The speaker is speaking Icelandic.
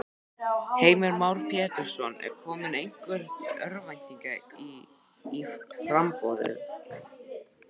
Heimir Már Pétursson: Er komin einhver örvænting í í framboðið?